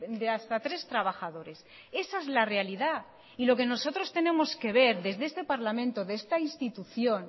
de hasta tres trabajadores esa es la realidad y lo que nosotros tenemos que ver desde este parlamento de esta institución